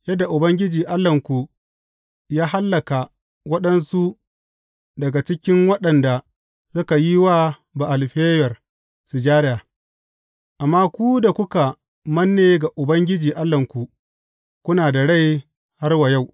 Yadda Ubangiji Allahnku ya hallaka waɗansu daga cikinku waɗanda suka yi wa Ba’al Feyor sujada, Amma ku da kuka manne ga Ubangiji Allahnku, kuna da rai har wa yau.